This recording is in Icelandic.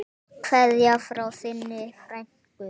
Kveðja frá þinni frænku.